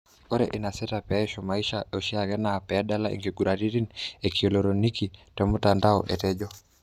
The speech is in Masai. Ore enasita paishu maisha eoshiake na padala nkiguraritin e kielekroniki tomutandao,''etejo.